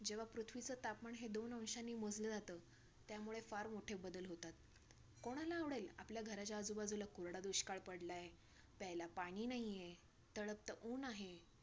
जेव्हा पृथ्वीचं तापमान हे दोन अंशाने मोजलं जातं. त्यामुळे फार मोठे बदल होतात. कोणाला आवडेल, आपल्या घराच्या बाजूला कोरडा दुष्काळ पडलाय. प्यायला पाणी नाही आहे. तळपतं ऊन आहे.